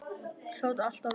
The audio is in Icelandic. Hljóta alltaf að verða það.